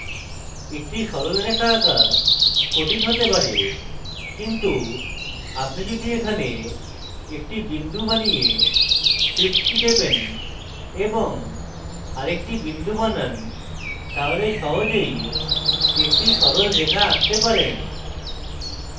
একটি সরল রেখা আঁকা কঠিন হতে press কিন্তু আপনি যদি এখানে একটি বিন্দু বানিয়ে shift key টেপেন এবং আরেকটি বিন্দু বানান তাহলে সহজেই একটি সরল রেখা আঁকতে পারেন